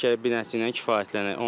Deyir ki, elə bir dənəsi ilə kifayətlənək.